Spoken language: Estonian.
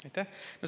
Aitäh!